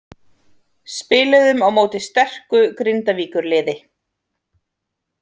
Spiluðum á móti sterku Grindavíkurliði.